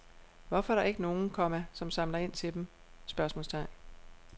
Hvorfor er der ikke nogen, komma som samler ind til dem? spørgsmålstegn